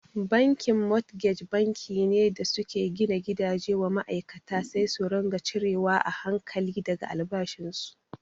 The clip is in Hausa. Bankin motgej banki ne da suke gina gidaje wa ma'aikata sai su ringa cire wa a hankali daga albashin su.